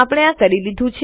આપણે આ કરી લીધું